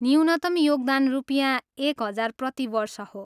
न्यूनतम योगदान रुपियाँ एक हजार प्रति वर्ष हो।